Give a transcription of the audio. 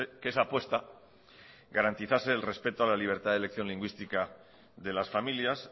que esa apuesta garantizase el respeto a la libertad de elección lingüística de las familias